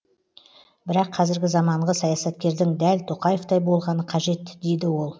бірақ қазіргі заманғы саясаткердің дәл тоқаевтай болғаны қажет дейді ол